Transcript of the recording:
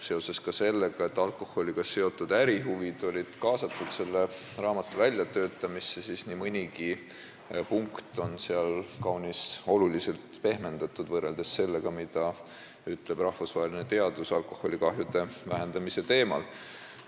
Seoses ka sellega, et alkoholiga seotud ärihuvide esindajad olid selle raamatu väljatöötamisse kaasatud, on seal nii mõndagi punkti oluliselt pehmendatud võrreldes sellega, mida on teadlased üle maailma öelnud alkoholikahjude vähendamise teemal.